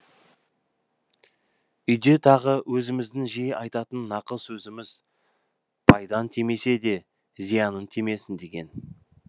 үйде тағы өзіміздің жиі айтатын нақыл сөзіміз пайдаң тимесе де зияның тимесін деген